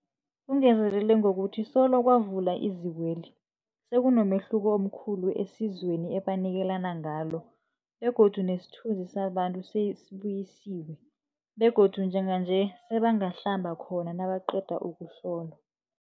Ungezelele ngokuthi solo kwavulwa izikweli, sekunomehluko omkhulu esizweni ebanikelana ngalo begodu nesithunzi sabantu sesibuyisiwe begodu njenganje sebangahlamba khona nabaqeda ukuhlolwa.